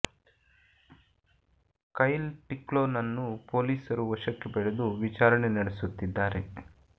ಕೈಲ್ ಟಿಕ್ಲೊ ನನ್ನು ಪೊಲೀಸರು ವಶಕ್ಕೆ ಪಡೆದು ವಿಚಾರಣೆ ನಡೆಸುತ್ತಿದ್ದಾರೆ